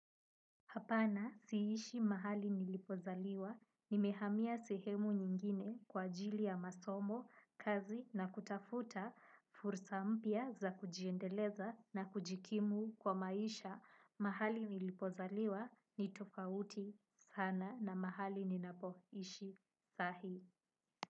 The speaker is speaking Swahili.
Hapana siishi mahali nilipozaliwa, nimehamia sehemu nyingine kwa ajili ya masomo, kazi na kutafuta, fursa mpya za kujiendeleza na kujikimu kwa maisha, mahali nilipozaliwa ni tofauti sana na mahali ninapoishi, saa hii.